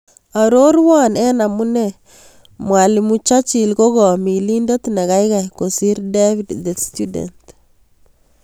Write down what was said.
Arorwan en amune mwalimu churchill ko milindet negaigai kosir david the student